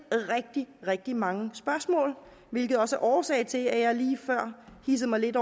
rigtig rigtig mange spørgsmål hvilket også var årsagen til at jeg lige før hidsede mig lidt